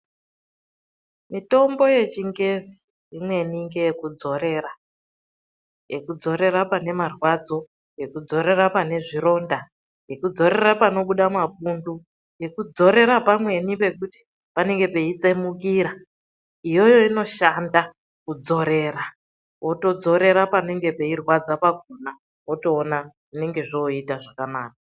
Mitombo yechingezi imweni ngeyekudzorera, yekudzorera pane marwadzo, yekudzorera pane zvironda, yekudzorera panobuda mapundu, yekudzorera pamweni pekuti panenge peitsemukira. Iyoyo inoshanda kudzorera wotodzorera panenge peirwadza pakhona, wotoona zvinenge zvoita zvakanaka.